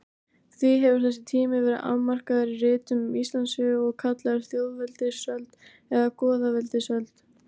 Því hefur þessi tími verið afmarkaður í ritum um Íslandssögu og kallaður þjóðveldisöld eða goðaveldisöld.